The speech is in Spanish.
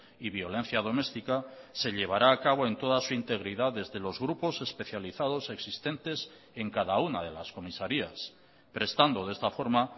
y violencia domestica se llevará a cabo en toda su integridad desde los grupos especializados existentes en cada una de las comisarías prestando de esta forma